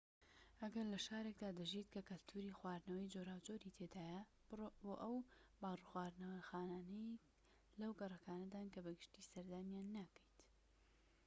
ئەگەر لە شارێكدا دەژیت کە کەلتوری خواردنەوەی جۆراوجۆری تێدایە بڕۆ بۆ ئەو باڕ و خواردنەوەخانانەی لەو گەڕەکانەدان کە بە گشتیی سەردانیان ناکەیت